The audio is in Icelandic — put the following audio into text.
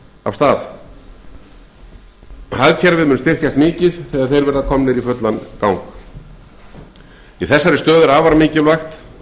af stað hagkerfið mun styrkjast mikið þegar þeir verða komnir í fullan gang í þessari stöðu er afar mikilvægt